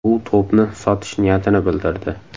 U to‘pni sotish niyatini bildirdi.